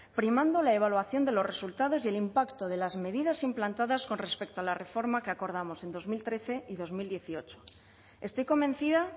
primando la evaluación de los resultados y el impacto de las medidas implantadas con respecto a la reforma que acordamos en dos mil trece y dos mil dieciocho estoy convencida